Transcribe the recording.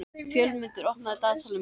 Fjólmundur, opnaðu dagatalið mitt.